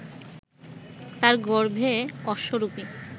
তার গর্ভে অশ্বরূপী